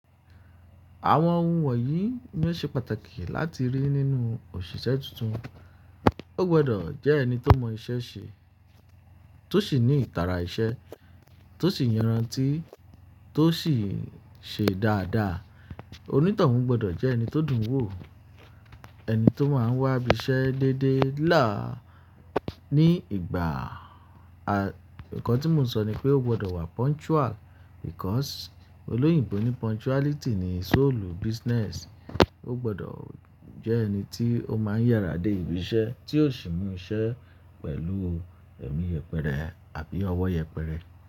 Àwọn ohun wọ̀nyí ni ó ṣe pàtàkì láti rí nínú òṣìṣẹ́ tuntun. Ó gbọdọ̀ jẹ́ ẹni tó mọ iṣẹ́ ṣe, tó sì ní ìtara iṣẹ́, tó sì yẹran tì, tó sì ṣe dáadáa. Onítọ̀hún gbọdọ̀ jẹ́ ẹni tó dùn wò, ẹni tó máa ń wá ibiṣẹ́ déédéé láà ní ìgbà, à, nǹkan tí mo ń sọ ni pé ó gbọdọ̀ wá punctual because. Olóyìnbo ní punctuality ni soul business. Ó gbọdọ̀ jẹ́ ẹni tí ó máa ń yàrá dé ibi iṣẹ́, tí ò sì mú iṣẹ́ pẹ̀lú ẹ̀mí yẹpẹrẹ àbí ọwọ́ yẹpẹrẹ.